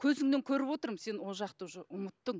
көзіңнен көріп отырмын сен ол жақты уже ұмыттың